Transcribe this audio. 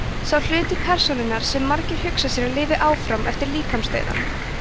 sá hluti persónunnar sem margir hugsa sér að lifi áfram eftir líkamsdauðann